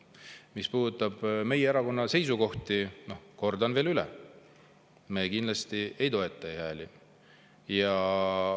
Mis puudutab meie erakonna seisukohti, siis kordan veel üle: me kindlasti ei toeta e-hääletust.